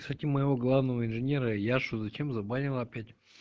с этим моего главного инженера яшу зачем забанила опять